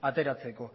ateratzeko